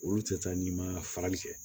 Olu tɛ taa ni ma farali kɛ